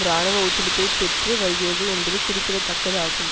இராணுவ ஒத்துழைப்பை பெற்று வருகிறது என்பது குறிப்பிடத்தக்கதாகும்